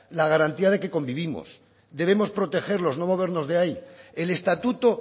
la garantía de que convivimos debemos protegerlo no movernos de ahí el estatuto